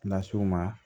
Las'u ma